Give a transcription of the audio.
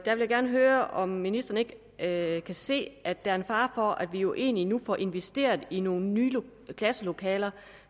gerne høre om ministeren ikke kan se at der er en fare for at vi jo egentlig nu får investeret i nogle nye klasselokaler